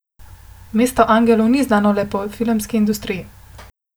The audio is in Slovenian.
Mesto angelov ni znano le po filmski industriji.